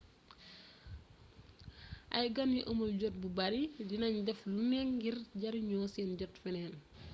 ay gan yu amul jot bu bari di nañ def lu ne ngir jeriño seen jot feneen